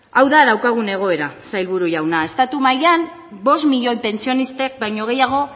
hau da daukagun egoera sailburu jauna estatu mailan bost milioi pentsionistek baino gehiago